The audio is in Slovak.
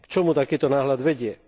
K čomu takýto náhľad vedie?